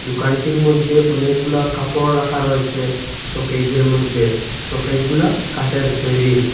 দোকানটির মধ্যে অনেকগুলা কাপড় রাখা রয়েসে শোকেজের মধ্যে শোকেজগুলা কাঠের তৈরি।